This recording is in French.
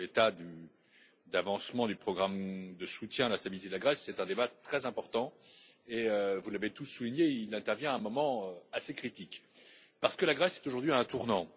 L'état d'avancement du programme de soutien à la stabilité de la Grèce est un débat très important et, vous l'avez tous souligné, il intervient à un moment assez critique, parce que la Grèce est aujourd'hui à un tournant.